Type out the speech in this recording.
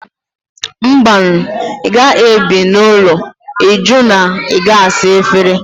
Mba nụ! ị gaghị ebi n'ụlọ ịjụ na ị gaghị asa efere